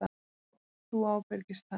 Þú ábyrgist það.